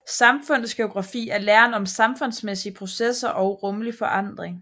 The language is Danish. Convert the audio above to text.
Samfundsgeografi er læren om samfundsmæssige processer og rumlig forandring